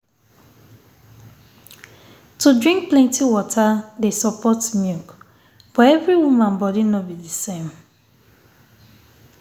to drink plenty water dey support milk but every woman body no be the same